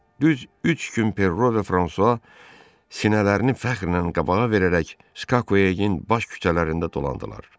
Düz üç gün Perro və Fransua sinələrini fəxrlə qabağa verərək Skakuyagin baş küçələrində dolandılar.